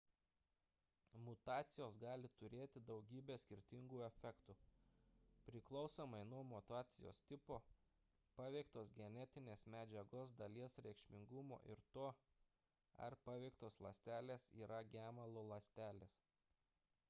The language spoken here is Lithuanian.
mutacijos gali turėti daugybę skirtingų efektų priklausomai nuo mutacijos tipo paveiktos genetinės medžiagos dalies reikšmingumo ir to ar paveiktos ląstelės yra gemalo ląstelės